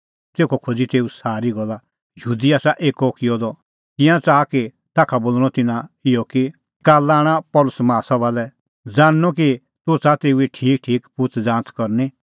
तेखअ खोज़ी तेऊ सारी गल्ला यहूदी आसा एक्कअ किअ द तिंयां च़ाहा कि ताखा बोल़णअ तिन्नां इहअ कि काल्ला आण पल़सी माहा सभा लै ज़ाणनअ कि तूह च़ाहा तेऊए ठीकठीक पुछ़ज़ाच़ करनी